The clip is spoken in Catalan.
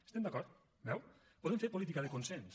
hi estem d’acord ho veu volem fer política de consens